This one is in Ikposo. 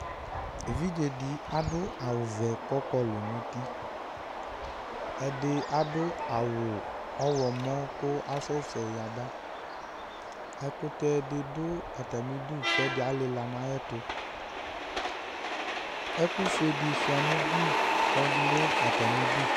Evidze dɩ adʋ awʋvɛ kʋ ɔkɔlʋ nʋ uti Ɛdɩ adʋ awʋ ɔɣlɔmɔ kʋ asɛsɛ yaba Ɛkʋtɛ dɩ dʋ atamɩdu kʋ ɛdɩ alɩla nʋ ayɛtʋ Ɛkʋfue dɩ sʋɩa nʋ ugli kʋ ɔdʋ atamɩdu